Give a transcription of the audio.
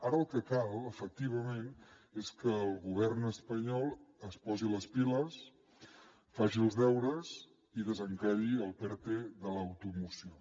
ara el que cal efectivament és que el govern espanyol es posi les piles faci els deures i desencalli el perte de l’automoció